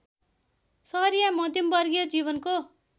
सहरिया मध्यमवर्गीय जीवनको